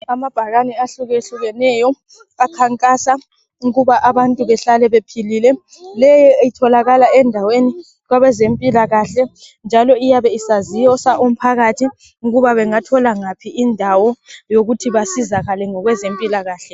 Amabhakani ahlukehlukeneyo akhankasa ukuba abantu behlale bephilile. Leyi itholakala endaweni kwabezempilakahle njalo iyabe isazisa umphakathi ukuba bengathola ngaphi indawo yokuthi basizakale ngokwezempilakahle.